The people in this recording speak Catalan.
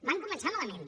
van començar malament